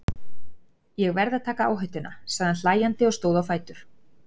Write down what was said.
Ég verð að taka áhættuna, sagði hann hlæjandi og stóð á fætur.